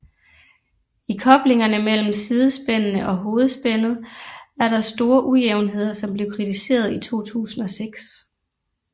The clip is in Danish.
I koblingerne mellem sidespændene og hovedspændet er der store ujævnheder som blev kritiseret i 2006